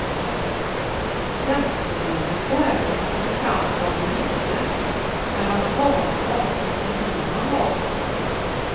Tjänstebilens värde kommer fram som ur intet när man talat om vilken bil man har.